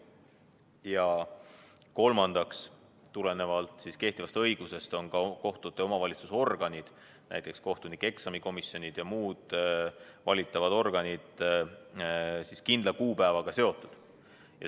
Ja kolmandaks, tulenevalt kehtivast õigusest on ka kohtute omavalitsusorganid, näiteks kohtunikueksamikomisjonid ja muud valitavad organid, kindla kuupäevaga seotud.